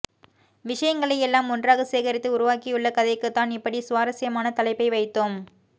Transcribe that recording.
விஷயங்களை எல்லாம் ஒன்றாக சேகரித்து உருவாக்கியுள்ள கதைக்குதான் இப்படி சுவாரசியமான தலைப்பை வைத்தோம்